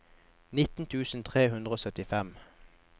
nitten tusen tre hundre og syttifem